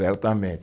Certamente.